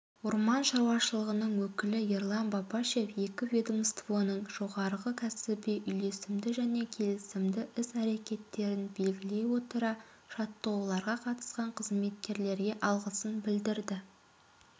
орман шаруашылығының өкілі ерлан бапашев екі ведомствоның жоғары кәсіби үйлесімді және келісімді іс-әрекеттерін белгілей отыра жаттығуларға қатысқан қызметкерлерге алғысын білдірді